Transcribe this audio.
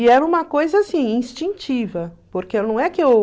E era uma coisa assim, instintiva, porque não é que eu...